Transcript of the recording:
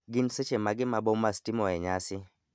Gin seche mage ma bomas timoe nyasi